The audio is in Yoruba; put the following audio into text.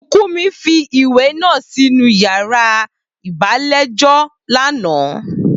Bùkúnmi fi ìwé náà sínú yàrá ìgbàlejò lánàá